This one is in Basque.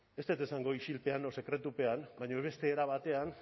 ez dut esango isilpean o sekretupean baina beste era batean